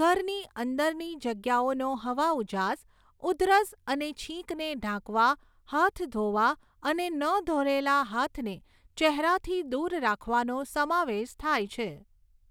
ઘરની અંદરની જગ્યાઓનો હવાઉજાસ, ઉધરસ અને છીંકને ઢાંકવા, હાથ ધોવા અને ન ધોલેલા હાથને ચહેરાથી દૂર રાખવાનો સમાવેશ થાય છે.